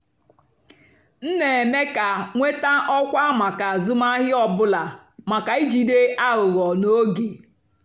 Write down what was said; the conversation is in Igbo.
m nà-èmékà nwétá ọ́kwá màkà àzụ́mahìá ọ́ bụ́là màká ìjìdé àghụ́ghọ́ n'ógè.